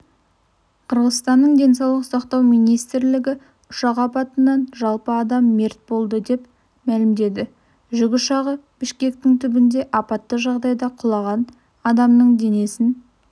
қырғызстанның денсаулық сақтау министрлігі ұшақ апатынан жалпы адам мерт болды деп мәлімдеді жүк ұшағы бішкектің түбінде апатты жағдайда құлаған адамның денесін